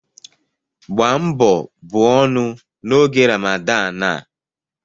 Gbaa mbọ buo ọnụ n'oge Ramadan a